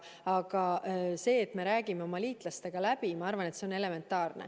Aga see, et me räägime oma liitlastega läbi, on minu arvates elementaarne.